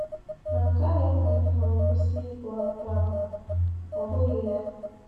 Ma nke ahụ ekweghị ka ọ kwụsị ịgụ akwụkwọ ahụ, ọ bụghị ya?